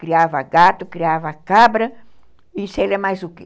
Criava gato, criava cabra e sei lá mais o quê.